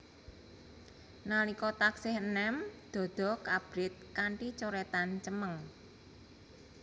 Nalika taksih enem dada abrit kanthi coretan cemeng